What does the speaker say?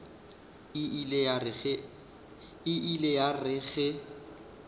e ile ya re ge